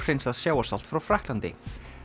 óhreinsað sjávarsalt frá Frakklandi